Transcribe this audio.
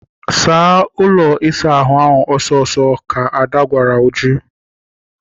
Saa ụlọ ịsa ahụ a ọsọ ọsọ! ka Ada gwara uju.